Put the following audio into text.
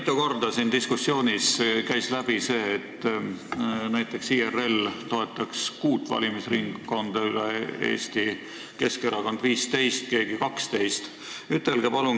Mitu korda käis siin diskussioonist läbi see, et näiteks IRL toetaks kuut valimisringkonda üle Eesti, Keskerakond 15 ja keegi 12 valimisringkonda.